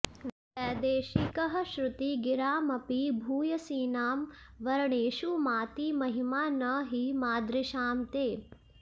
वैदेशिकः श्रुति गिरामपि भूयसीनां वर्णेषु माति महिमा न हि मादृशां ते